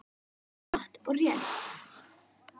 Já, satt og rétt.